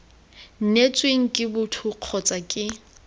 neetsweng ke boto kgotsa ke